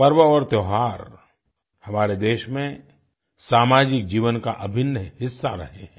पर्व और त्योहार हमारे देश में सामाजिक जीवन का अभिन्न हिस्सा रहे हैं